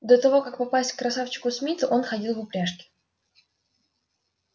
до того как попасть к красавчику смиту он ходил в упряжке